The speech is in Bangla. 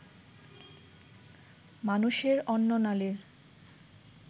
মানুষের অন্ননালীর